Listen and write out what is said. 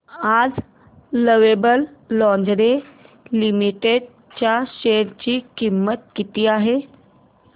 आज lovable lingerie limited च्या share ची किंमत किती आहे